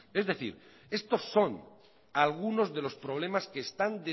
es decir estos son algunos de los problemas que están